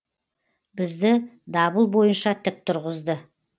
бізді дабыл бойынша тік тұрғызды